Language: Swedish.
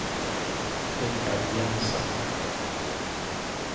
Richard Jensen